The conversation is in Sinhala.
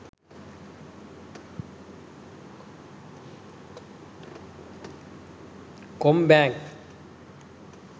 combank